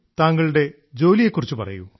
താങ്കളുടെ ജോലിയെ കുറിച്ച് പറയൂ